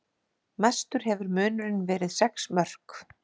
Mestur hefur munurinn verið sex mörk